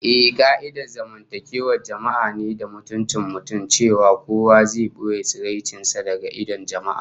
Ehh, ka'idar zamantakewar jama'a ne da mutuncin mutum, cewa kowa zai boye tsaraicin sa daga idon jama'a